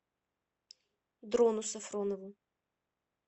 дрону сафронову